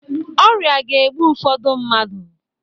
Ọrịa ga-egbu ụfọdụ mmadụ.